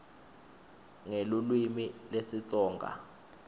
nelulwimi lesitsonga